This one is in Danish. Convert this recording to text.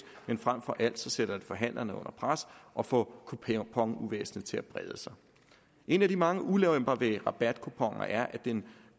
men frem for alt sætter det forhandlerne under pres og får kuponuvæsenet til at brede sig en af de mange ulemper ved rabatkuponer er at de